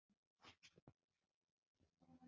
Þangað til byrjað var að lesa í úrslit.